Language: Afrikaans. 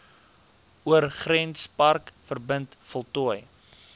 oorgrenspark verbind voltooi